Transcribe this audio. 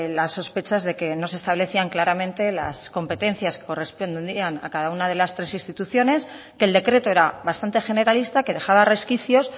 las sospechas de que no se establecían claramente las competencias que corresponderían a cada una de las tres instituciones que el decreto era bastante generalista que dejaba resquicios